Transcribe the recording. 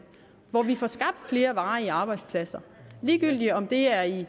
hvor vi får skabt flere varige arbejdspladser ligegyldigt om det er i